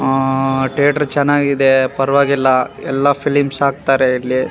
ಆ ತೇಟ್ರ್ ಚೆನ್ನಾಗಿದೆ ಪರ್ವಾಗಿಲ್ಲ ಎಲ್ಲ ಫಿಲಿಮ್ಸ್ ಹಾಕ್ತಾರೆ ಇಲ್ಲಿ.